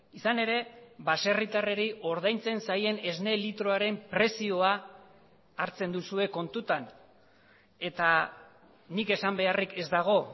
izan ere baserritarrei ordaintzen zaien esne litroaren prezioa hartzen duzue kontutan eta nik esan beharrik ez dago